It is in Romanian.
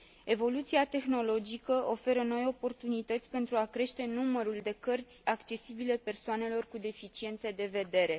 Evoluția tehnologică oferă noi oportunități pentru a crește numărul de cărți accesibile persoanelor cu deficiențe de vedere.